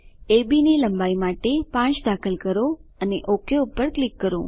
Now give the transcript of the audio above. અબ ની લંબાઈ માટે 5 દાખલ કરો અને ઓક પર ક્લિક કરો